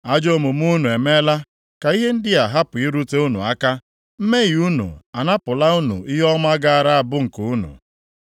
Ajọ omume unu emeela ka ihe ndị a hapụ irute unu aka. Mmehie unu anapụla unu ihe ọma gaara abụ nke unu.